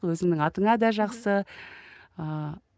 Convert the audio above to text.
өзіңнің атыңа да жақсы ыыы